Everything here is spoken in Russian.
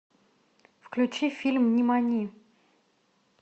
включи фильм нимани